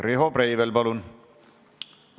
Riho Breivel, palun!